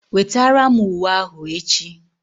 Wetara m uwe ahụ echi!